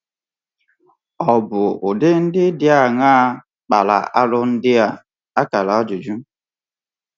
Ọ̀ bụ ụdị ndị dị aṅaa kpara arụ ndị a?